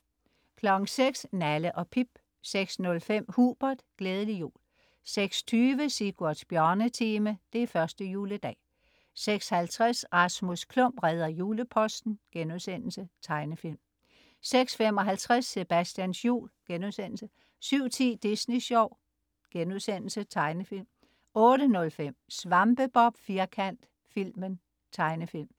06.00 Nalle & Pip 06.05 Hubert. Glædelig jul 06.20 Sigurds Bjørnetime. Det er første juledag! 06.50 Rasmus Klump redder juleposten.* Tegnefilm 06.55 Sebastians jul* 07.10 Disney Sjov.* Tegnefilm 08.05 SvampeBob Firkant, filmen. Tegnefilm